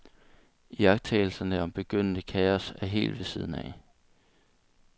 Iagttagelserne om begyndende kaos er helt ved siden af.